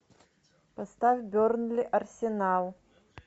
поставь бернли арсенал